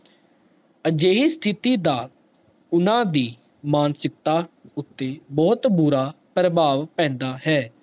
ਅਜੇਹੀ ਸਥਿਤੀ ਦਾ ਊਨਾ ਦੀ ਮਾਨਸਿਕਤਾ ਉਤੇ ਬਹੁਤ ਬੁਰਾ ਪ੍ਰਭਾਵ ਪੈਂਦਾ ਹੈ